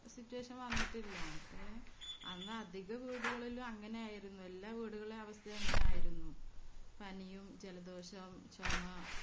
Situation വന്നിട്ടില്ല അത്രെ അധിക വീടുകളിലും അങ്ങനെ ആയിരുന്നു എല്ലാ വീടുകളിലെയും അവസ്ഥ അങ്ങനെ ആയിരുന്നു പനിയും ജലദോഷോം ചൊമ